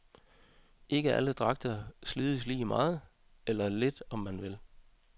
Ikke alle dragter slides lige meget, eller lidt om man vil.